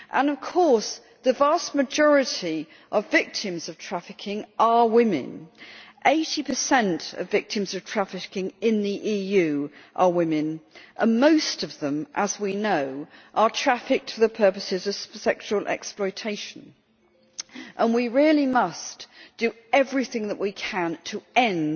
Of course, the vast majority of victims of trafficking are women. Eighty percent of victims of trafficking in the EU are women, and most of them, as we know, are trafficked for the purposes of sexual exploitation. We really must do everything that we can to